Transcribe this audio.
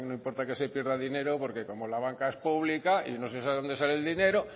importa que se pierda dinero porque como la banca es pública y no se sabe donde sale el dinero